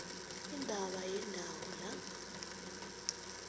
indaba yendawo la